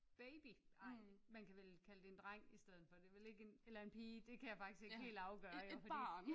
Baby ej man kan vel kalde det en dreng i stedet for det er vel ikke en eller en pige det kan jeg faktisk ikke helt afgøre fordi